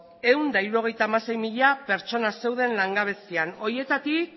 ehun eta hirurogeita hamasei mila pertsona zeuden langabezian horietatik